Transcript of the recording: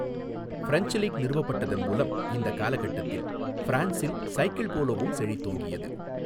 French league நிறுவப்பட்டதன் மூலம் இந்த காலக்கட்டத்தில் ஃபிரான்சில் சைக்கிள் போலோவும் செழித்தோங்கியது.